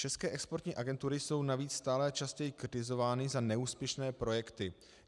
České exportní agentury jsou navíc stále častěji kritizovány za neúspěšné projekty.